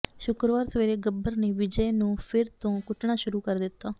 ਸ਼ੁੱਕਰਵਾਰ ਸਵੇਰੇ ਗੱਬਰ ਨੇ ਵਿਜੈ ਨੂੰ ਫਿਰ ਤੋਂ ਕੁੱਟਣਾ ਸ਼ੁਰੂ ਕਰ ਦਿੱਤਾ